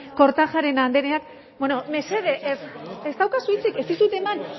kortajarena andreak mesedez ez daukazu hitzik ez dizut eman